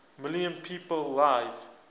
million people live